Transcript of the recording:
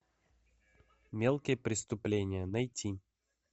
мелкие преступления найти